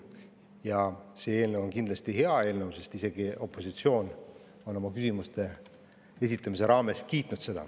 Ja see eelnõu on kindlasti hea eelnõu, sest isegi opositsioon on oma küsimuste esitamisel seda kiitnud.